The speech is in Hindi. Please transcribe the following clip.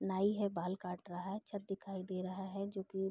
नाइ है बाल काट रहा है छत दिखाई दे रहा है जो की --